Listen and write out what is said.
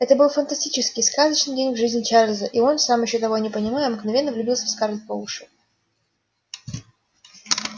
это был фантастический сказочный день в жизни чарлза и он сам ещё того не понимая мгновенно влюбился в скарлетт по уши